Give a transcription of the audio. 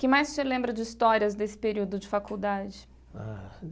Que mais o senhor lembra de histórias desse período de faculdade? Ah.